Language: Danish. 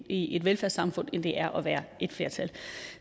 i et velfærdssamfund end det er at være et flertal